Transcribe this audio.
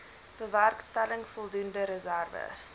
bewerkstellig voldoende reserwes